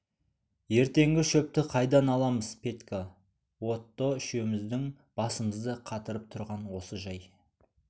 ертеңгі шөпті қайдан аламыз петька отто үшеуміздің басымызды қатырып тұрған осы жай